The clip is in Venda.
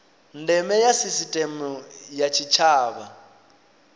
ndeme ya sisiteme ya tshitshavha